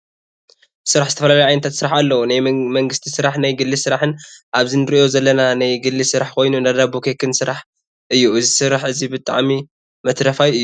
ስራሕ ዝተፈላለዩ ዓንታት ስራሕ ኣለው ናይ መንግስቲ ስራሕ ናይ ግሊ ስራሕን ኣብዚ እንሪኦ ዘለና ናይ ግሊ ስራሕ ኮይኑ እንዳዳቦን ኬክን ስራሕ እዩ እዚ ስራሕ እዚ ብጣዕሚ መትረፋይ እዩ።